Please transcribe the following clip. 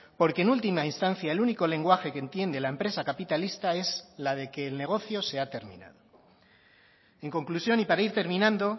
porque en última instancia el único lenguaje que entiende la empresa capitalista es la de que el negocio se ha terminado en conclusión y para ir terminando